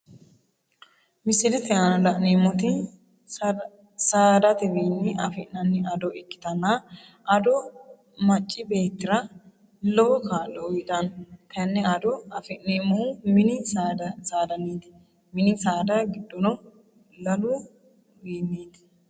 Misilete aanna la'neemoti saadatewiinni afi'nanni ado ikitanna ado macibeetira lowo kaa'lo uyitano tene ado afi'neemohu minni saadaniiti minni saada gidoono lalu wiiniiti.